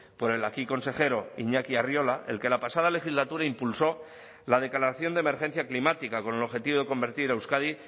por el aquí consejero iñaki arriola el que la pasada legislatura impulsó la declaración de emergencia climática con el objetivo de convertir a euskadi